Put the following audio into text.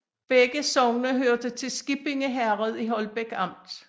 Begge sogne hørte til Skippinge Herred i Holbæk Amt